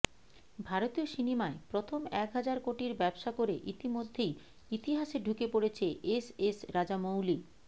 ভারতীয় সিনেমায় প্রথম এক হাজার কোটির ব্যবসা করে ইতিমধ্যেই ইতিহাসে ঢুকে পড়েছে এস এস রাজামৌলি